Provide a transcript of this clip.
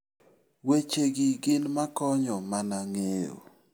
Wechegi gin makonyo mana ng'eyo.